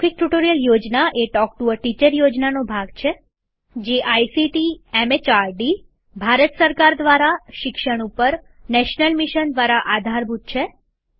મૌખિક ટ્યુટોરીયલ યોજના a talk to a teacher યોજનાનો ભાગ છે જે આઇસીટીએમએચઆરડીભારત સરકાર દ્વારા શિક્ષણ પર નેશનલ મિશન દ્વારા આધારભૂત છે